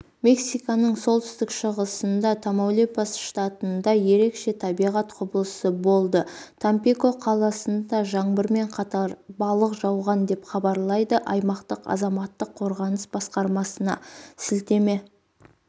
мексиканың солтүстік-шығысында тамаулипас штатында ерекше табиғат құбылысы болды тампико қаласында жаңбырмен қатар балық жауған деп хабарлайды аймақтық азаматтық қорғаныс басқармасына сілтеме